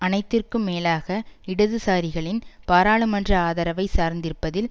அனைத்திற்கும் மேலாக இடதுசாரிகளின் பாராளுமன்ற ஆதரவைச் சார்ந்திருப்பதில்